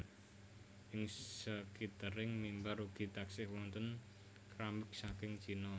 Ing skitering mimbar ugi taksih wonten kramik saking China